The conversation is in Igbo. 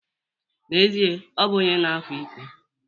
N'ezie, ọ bụ onye na-akwa iko.